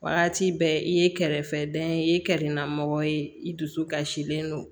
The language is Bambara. Waati bɛɛ i ye kɛrɛfɛ dɛn i ye kɛrɛnda mɔgɔ ye i dusu kasilen don